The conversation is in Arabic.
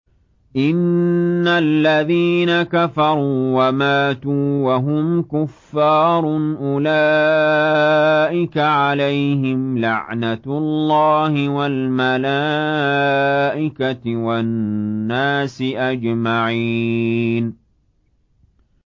إِنَّ الَّذِينَ كَفَرُوا وَمَاتُوا وَهُمْ كُفَّارٌ أُولَٰئِكَ عَلَيْهِمْ لَعْنَةُ اللَّهِ وَالْمَلَائِكَةِ وَالنَّاسِ أَجْمَعِينَ